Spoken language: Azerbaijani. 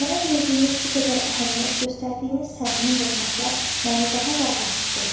Mənə verdiyiniz bu qədər əhəmiyyət, göstərdiyiniz səmimi hörmətlər məni daha da rahat hiss edir.